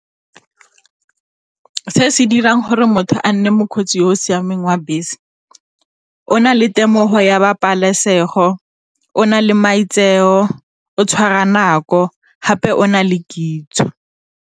Se se dirang gore motho a nne mokgweetsi yo o siameng wa bese, o na le temogo ya bapalesego, o na le maitseo, o tshwara nako gape o na le kitso.